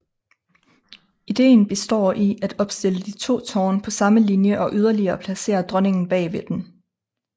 Ideen består i at opstille de to tårne på samme linje og yderligere placere dronningen bag ved dem